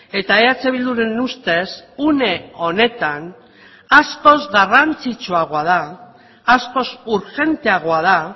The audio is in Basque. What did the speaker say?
eta eh bilduren ustez une honetan askoz garrantzitsuagoa da askoz urgenteagoa da